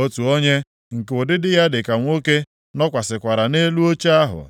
Otu onye, nke ụdịdị ya dị ka nwoke, nọkwasịkwara nʼelu oche ahụ.